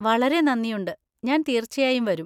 വളരെ നന്ദിയുണ്ട്, ഞാൻ തീർച്ചയായും വരും!